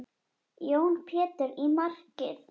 Jón Pétur í markið!